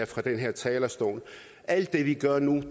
fra den her talerstol at alt det vi gør nu